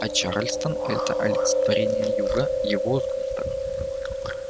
а чарльстон это олицетворение юга его сгусток